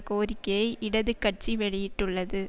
கோரிக்கையை இடது கட்சி வெளியிட்டுள்ளது